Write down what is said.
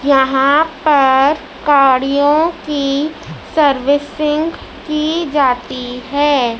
यहाँ पर गाड़ियों की सर्विसिंग की जाती है।